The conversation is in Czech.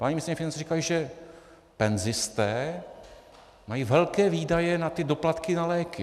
Paní ministryně financí řekla, že penzisté mají velké výdaje na ty doplatky na léky.